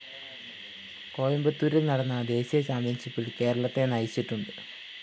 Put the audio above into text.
കോയമ്പത്തൂരില്‍ നടന്ന ദേശീയ ചാമ്പ്യന്‍ഷിപ്പില്‍ കേരളത്തെ നയിച്ചിട്ടുണ്ട്